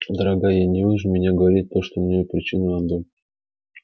дорогая не вынуждайте меня говорить то что может причинить вам боль